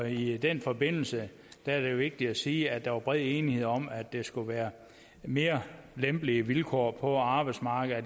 i den forbindelse er det vigtigt at sige at der var bred enighed om at der skulle være mere lempelige vilkår på arbejdsmarkedet og